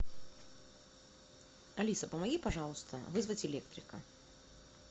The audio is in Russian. алиса помоги пожалуйста вызвать электрика